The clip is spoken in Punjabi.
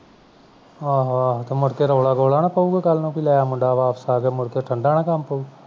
ਆਹੋ-ਆਹੋ ਮੁੜ ਕੇ ਰੌਲਾ ਗੋਲਾ ਤੇ ਨਹੀਂ ਪਉਂਦਾ ਕਲ ਨੂੰ ਕੀ ਲੈ ਮੁੜ ਕੇ ਮੁੰਡਾ ਵਾਪਸ ਆ ਗਿਆ ਮੁੜ ਕੇ ਠੰਡਾ ਨਾ ਕੰਮ ਪਉ